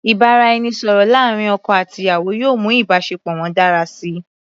Ìbáraẹnisọ̀rọ̀ láàrin ọkọ àti aya yóò mú ìbáṣepọ̀ wọn dára síi.